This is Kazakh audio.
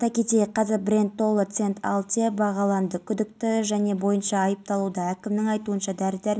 жылдығына арналған шара бұрымды тәртіп сақшылары жол реттеу ережесін ай бойы үйреніп өздеріне жүктелген міндетті